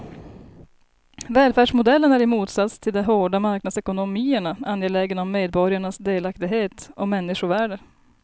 Välfärdsmodellen är i motsats till de hårda marknadsekonomierna angelägen om medborgarnas delaktighet och människovärde.